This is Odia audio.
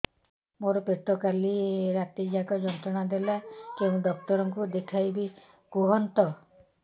ମୋର ପେଟ କାଲି ରାତି ଯାକ ଯନ୍ତ୍ରଣା ଦେଲା କେଉଁ ଡକ୍ଟର ଙ୍କୁ ଦେଖାଇବି କୁହନ୍ତ